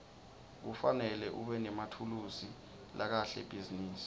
kufanele ubenemathulusi lakahle ebhizinisi